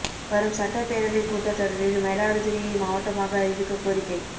வரும் சட்டப் பேரவைக் கூட்டத் தொடரில் மயிலாடுதுறையை மாவட்டமாக அறிவிக்கக் கோரிக்கை